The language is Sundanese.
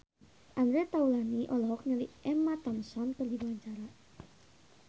Andre Taulany olohok ningali Emma Thompson keur diwawancara